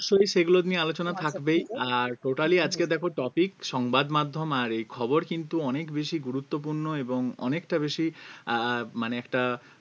অবশ্যই সেগুলো নিয়ে আলোচনা থাকবেই আর totally আজকের দেখো topic সংবাদ মাধ্যম আর এই খবর কিন্তু অনেক বেশি গুরুত্বপূর্ণ এবং অনেকটা বেশি আহ মানে একটা